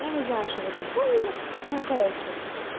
я не знаю что вы этом поняли ну короче